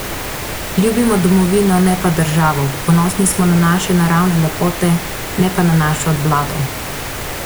Ljubimo domovino, ne pa državo, ponosni smo na naše naravne lepote, ne pa na našo vlado.